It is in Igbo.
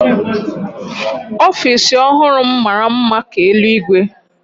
Ofiisi ọhụrụ m mara mma ka eluigwe